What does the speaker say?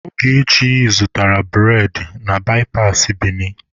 Ogechi zụtaara bụredị na baipasị Bini.